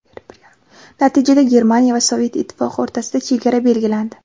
Natijada Germaniya va Sovet Ittifoqi o‘rtasida chegara belgilandi.